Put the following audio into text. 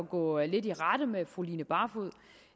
gå lidt i rette med fru line barfod